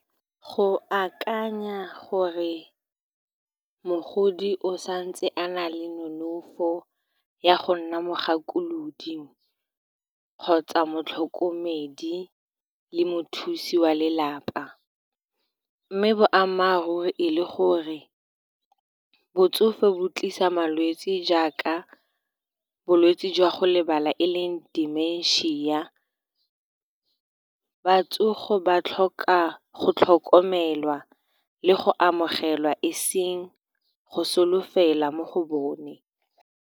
Go akanya gore mogodi o santse a na le nonofo ya go nna mogakolodi, kgotsa motlhokomedi le mothusi wa lelapa, mme boammaaruri e le gore botsofe bo tlisa malwetse jaaka bolwetse jwa go lebala, e leng dimensia. Batsofe ba tlhoka go tlhokomelwa le go amogelwa, eseng go solofela mo go bone.